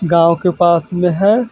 गांव के पास में है ।